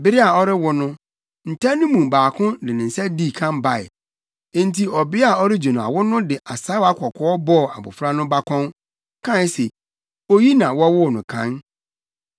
Bere a ɔrewo no, nta no mu baako de ne nsa dii kan bae. Enti ɔbea a ɔregye no awo no de asaawa kɔkɔɔ bɔɔ abofra no bakɔn, kae se, “Oyi na wɔwoo no kan.”